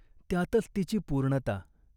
त्यातच तिची पूर्णता.